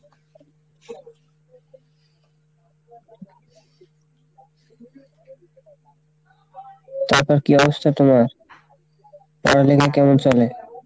তারপর কী অবস্থা তোমার, পড়ালেখা কেমন চলে?